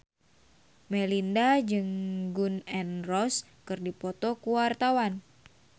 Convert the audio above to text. Melinda jeung Gun N Roses keur dipoto ku wartawan